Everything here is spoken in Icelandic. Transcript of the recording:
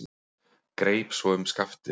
Greip svo um skaftið.